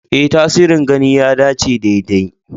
Ee, tasirin gani ya dace daidai.